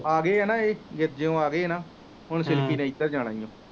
ਆ ਗਏ ਆ ਨਾ ਏਹੇ